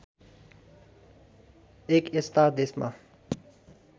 एक यस्ता देशमा